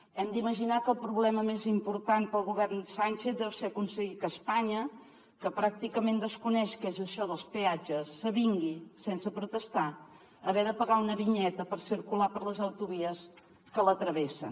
hem d’imaginar que el problema més important per al govern sánchez deu ser aconseguir que espanya que pràcticament desconeix què és això dels peatges s’avingui sense protestar a haver de pagar una vinyeta per circular per les autovies que la travessen